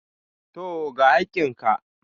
Tooo, ga hakkin ka.